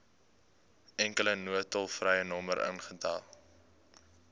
enkele noodtolvrynommer ingestel